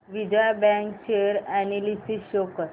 Vijaya bank share analysis show कर